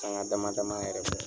Sanŋa dama dama yɛrɛ